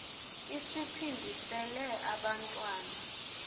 i siphindisele abantwana